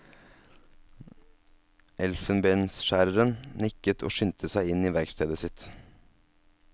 Elfenbensskjæreren nikket og skyndte seg inn i verkstedet sitt.